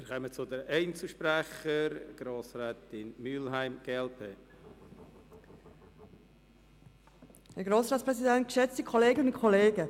Wir kommen zu den Einzelsprechern, zuerst Grossrätin Mühlheim, glp.